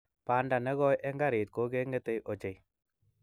Bandoo ne koi eng garit kot keng'etei ochei.